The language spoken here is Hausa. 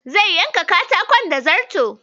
Zai yanka katakon da zarto.